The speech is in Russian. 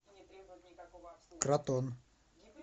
кратон